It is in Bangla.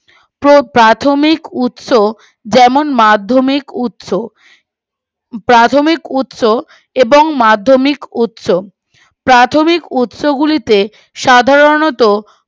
তো প্রাথমিক উৎস যেমন মাধ্যমিক উৎস প্রাথমিক উৎস এবং মাধ্যমিক উৎস প্রাথমিক উৎস গুলিতে সাধারণতঃ